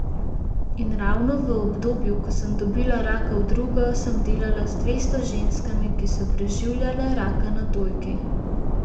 In ravno v obdobju, ko sem dobila raka v drugo, sem delala z dvesto ženskami, ki so preživljale raka na dojki.